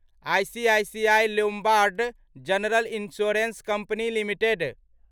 ICICI Lombard general insurance company limited